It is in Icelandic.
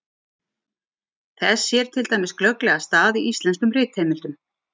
Þess sér til dæmis glögglega stað í íslenskum ritheimildum.